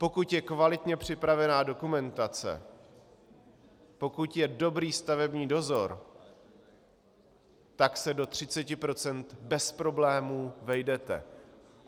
Pokud je kvalitně připravená dokumentace, pokud je dobrý stavební dozor, tak se do 30 % bez problémů vejdete.